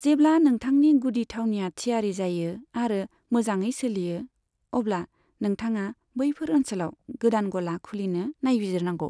जेब्ला नोंथांनि गुदि थावनिया थियारि जायो आरो मोजाङै सोलियो, अब्ला नोंथाङा बैफोर ओनसोलाव गोदान गला खुलिनो नायबिजिरनांगौ।